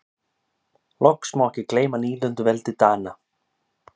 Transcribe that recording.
loks má ekki gleyma nýlenduveldi dana